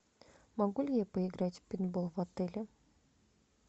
могу ли я поиграть в пейнтбол в отеле